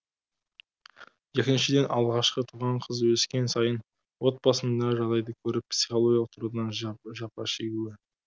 екіншіден алғашқы туған қыз өскен сайын отбасындағы жағдайды көріп психологиялық тұрғыдан жапа шегуі